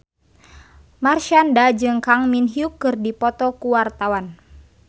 Marshanda jeung Kang Min Hyuk keur dipoto ku wartawan